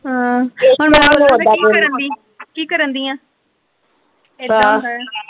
ਹਾ ਹੁਣ ਕੀ ਕਰਨ ਡਾਈ ਆ ਕੀ ਕਰਨ ਦੀ ਆ ਏਦਾਂ ਹੁੰਦਾ ਆ।